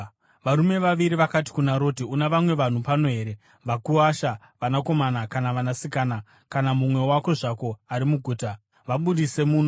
Varume vaviri vakati kuna Roti, “Una vamwe vanhu pano here, vakuwasha, vanakomana kana vanasikana, kana mumwe wako zvake ari muguta? Vabudise muno,